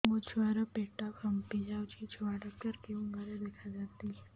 ମୋ ଛୁଆ ର ପେଟ ଫାମ୍ପି ଯାଉଛି ଛୁଆ ଡକ୍ଟର କେଉଁ ଘରେ ଦେଖୁ ଛନ୍ତି